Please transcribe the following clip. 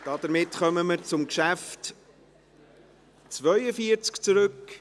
( Damit kommen wir zum Geschäft 42.